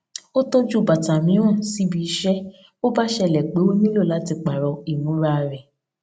ó tọju bàtà mìíràn síbi iṣé bó bá ṣẹlè pé ó nílò láti pààrò ìmúra rè